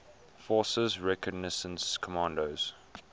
forces reconnaissance commandos